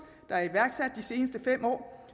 der er iværksat de seneste fem år